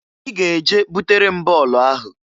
Ị ga-eje butere m bọọlụ ahụ!